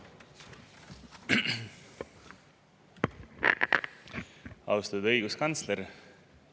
Austatud õiguskantsler!